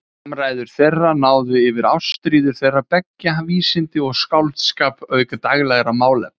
Samræður þeirra náðu yfir ástríður þeirra beggja, vísindi og skáldskap auk daglegra málefna.